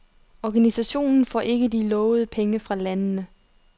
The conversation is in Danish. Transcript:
Organisationen får ikke de lovede penge fra landene.